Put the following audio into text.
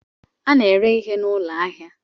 A na-ere ihe n'ụlọ ahịa